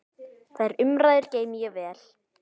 Þær umræður geymi ég vel.